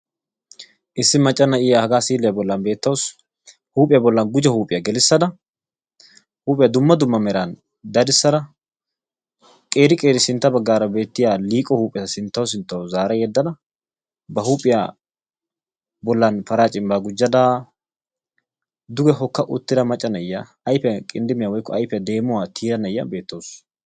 Issi macca na'iya hagaa siiliya bollan beetawus. Huuphiya bollan gujo huuphiya gelissada huuphiya dumma dumma meran dadissada qeeri qeeri sintaara beettiya liiqo huupheta sinttaw sinttaw zaara yeddadda ba huuphiya bolla paraa cimbaa gujadaa duge hokka uttida na'iya ayifiya qindibiyan woyikko ayifiya deemuwa tiya na'iya beettawus.